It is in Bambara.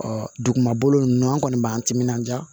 Ɔ dugumakolo ninnu an kɔni b'an timinanja